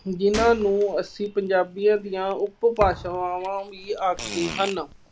ਜਿੰਨ੍ਹਾ ਨੂੰ ਅਸੀਂ ਪੰਜਾਬੀਅਤ ਜਾਂ ਉਪ ਭਾਸ਼ਾਵਾਂ ਵੀ ਆਖਦੇ ਹਨ।